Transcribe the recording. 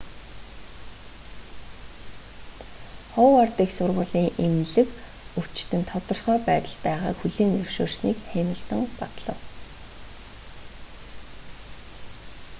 ховард их сургуулийн эмнэлэг өвчтөн тогтвортой байдалд байгааг хүлээн зөвшөөрснийг хэмилтон батлав